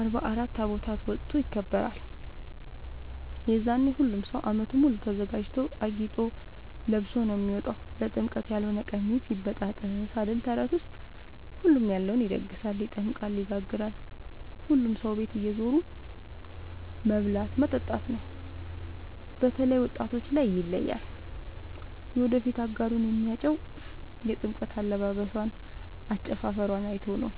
አርባ አራት ታቦት ወጥቶ ይከብራል። የዛኔ ሁሉም ሰው አመቱን ሙሉ ተዘጋጅቶ አጊጦ ለብሶ ነው የሚወጣው ለጥምቀት ያሎነ ቀሚስ ይበጣጠስ አይደል ተረቱስ ሁሉም ያለውን ይደግሳል። ይጠምቃል ይጋግራል ሁሉም ሰው ቤት እየዞሩ መብላት መጠጣት ነው። በተላይ ወጣቶች ላይ ይለያል። የወደፊት አጋሩን የሚያጨው የጥምቀት አለባበሶን አጨፉፈሯን አይቶ ነው።